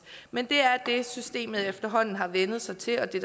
men det er det systemet efterhånden har vænnet sig til og det